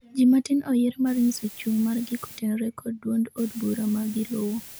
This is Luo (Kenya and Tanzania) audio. jii matin oyiere mar nyiso chung' margi kotenore kod duond od bura ma giluwo